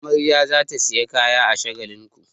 Amarya za ta sayi kaya a Shagalinku.